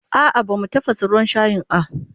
A'a bamu tafasa ruwan shayin a